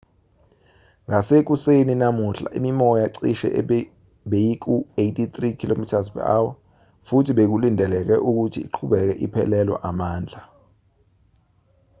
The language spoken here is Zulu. ngasekuseni namuhla imimoya cishe beyiku-83 km/h futhi bekulindeleke ukuthi iqhubeke iphelelwa amandla